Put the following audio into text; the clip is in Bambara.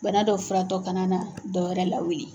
Bana dɔ furatɔ kana na dɔwɛrɛ lawuli.